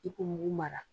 I k'o mugu mara